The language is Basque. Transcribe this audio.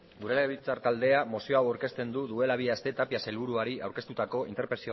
gure legebiltzar taldea mozio hau aurkezten du duela bi aste tapia sailburuari aurkeztutako